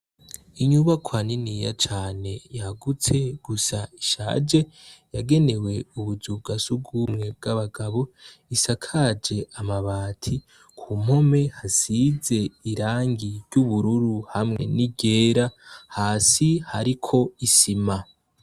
Inyubakwa niniya cane yagutse gusa ishaje, yagenewe ubuzu bwa surwumwe bw'abagabo, isakaje amabati, ku mpome hasize irangi ry'ubururu hamwe n'iryera, hasi hariko isima.